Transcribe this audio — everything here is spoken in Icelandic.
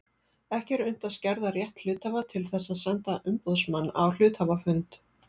Ekki er unnt að skerða rétt hluthafa til þess að senda umboðsmann á hluthafafund.